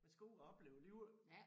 Man skal ud og opleve livet